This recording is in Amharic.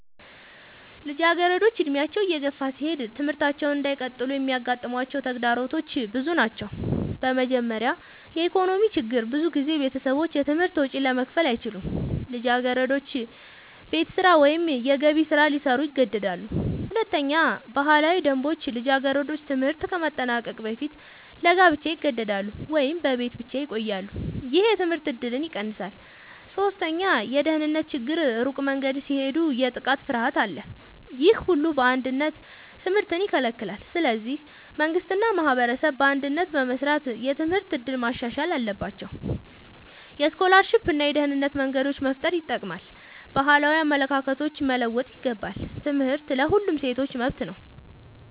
ልጃገረዶች ዕድሜያቸው እየገፋ ሲሄድ ትምህርታቸውን እንዳይቀጥሉ የሚያጋጥሟቸው ተግዳሮቶች ብዙ ናቸው። በመጀመሪያ የኢኮኖሚ ችግር ብዙ ቤተሰቦች የትምህርት ወጪ ለመክፈል አይችሉም። ልጃገረዶች ቤት ስራ ወይም የገቢ ስራ ሊሰሩ ይገደዳሉ። ሁለተኛ ባህላዊ ደንቦች ልጃገረዶች ትምህርት ከማጠናቀቅ በፊት ለጋብቻ ይገደዳሉ ወይም በቤት ብቻ ይቆያሉ። ይህ የትምህርት እድልን ይቀንሳል። ሶስተኛ የደህንነት ችግር ሩቅ መንገድ ሲሄዱ የጥቃት ፍርሃት አለ። ይህ ሁሉ በአንድነት ትምህርትን ይከለክላል። ስለዚህ መንግሥት እና ማህበረሰብ በአንድነት በመስራት የትምህርት እድል ማሻሻል አለባቸው። የስኮላርሺፕ እና የደህንነት መንገዶች መፍጠር ይጠቅማል። ባህላዊ አመለካከቶች መለወጥ ይገባል። ትምህርት ለሁሉም ሴቶች መብት ነው።